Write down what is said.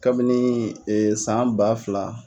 Kabini san ba fila.